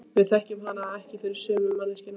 Við þekkjum hana ekki fyrir sömu manneskju.